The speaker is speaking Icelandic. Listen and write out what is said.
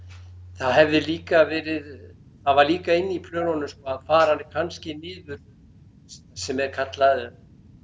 það hefði líka verið það var líka inni í plönunum sko að fara kannski niður sem er kallað